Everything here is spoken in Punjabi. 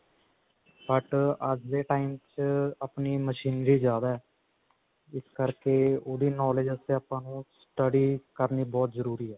but ਅੱਜ ਦੇ time ਚ ਆਪਣੀ machinery ਜਿਆਦਾ ਇਸ ਕਰਕੇ ਉਹਦੀ knowledge ਵਾਸਤੇ ਆਪਾਂ ਨੂੰ study ਕਰਨੀ ਬਹੁਤ ਜਰੂਰੀ ਹੈ